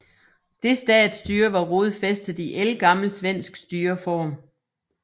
Det statsstyre var rodfæstet i ældgammel svensk styreform